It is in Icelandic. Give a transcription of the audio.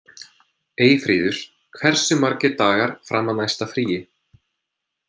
Eyfríður, hversu margir dagar fram að næsta fríi?